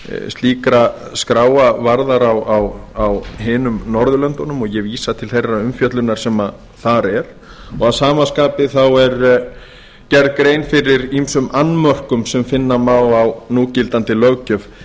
slíkra skráa varðar á hinum norðurlöndunum og ég vísa til þeirrar umfjöllunar sem þar er og að skapi er gerð grein fyrir ýmsum annmörkum sem finna má á núgildandi löggjöf